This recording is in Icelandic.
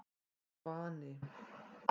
Svani